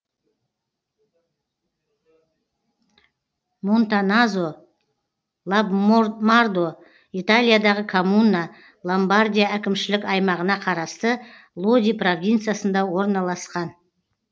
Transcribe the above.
монтаназо мардо италиядағы коммуна ломбардия әкімшілік аймағына қарасты лоди провинциясында орналасқан